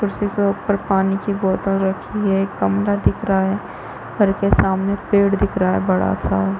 कुर्सी के ऊपर पानी की बोतल रखी है एक कमरा दिख रहा है घर के सामने पेड़ दिख रहा है बड़ा- सा --